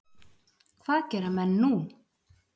Hvað gera menn nú?